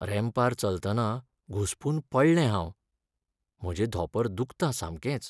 रॅम्पार चलतना घुस्पून पडलें हांव. म्हजें धोंपर दुखता सामकेंच.